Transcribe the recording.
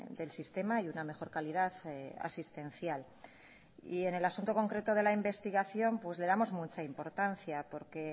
del sistema y una mejor calidad asistencial y en el asunto concreto de la investigación pues le damos mucha importancia porque